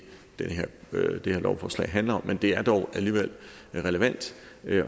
det det her lovforslaget handler om men det er dog alligevel relevant